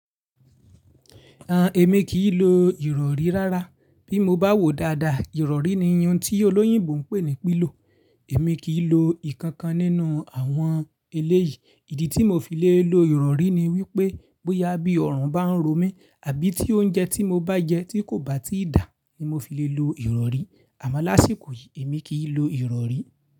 À, èmi kì í lo ìrọ̀rí rárá. Bí mo bá wò dáadáa, ìrọ̀rí ni iyún tí olóyìnbo ń pè ní pilo. Èmi kì í lo ìkankan nínú àwọn eléyìí. Ìdí tí mo fi le lo ìrọ̀rí ni wípé bóyá bí ọ̀rùn bá ń ro mi àbí tí oúnjẹ tí mo bá jẹ tí kò bá tíì dà ni mo fi le lo ìrọ̀rí. Àmọ́ lásìkò yìí èmi kì í lo ìrọ̀rí.